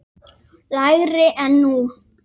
lægri en nú.